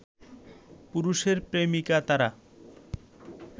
পুরুষের প্রেমিকা তারা